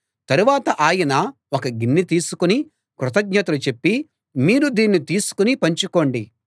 తరువాత ఆయన ఒక గిన్నె తీసుకుని కృతజ్ఞతలు చెప్పి మీరు దీన్ని తీసుకుని పంచుకోండి